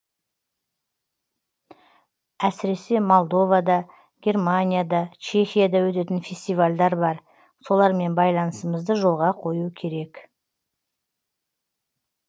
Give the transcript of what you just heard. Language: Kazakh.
әсіресе молдовада германияда чехияда өтетін фестивальдер бар солармен байланысымызды жолға қою керек